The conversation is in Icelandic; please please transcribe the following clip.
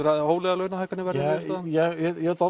að hóflegar launahækkanir verði niðurstaðan ég ætla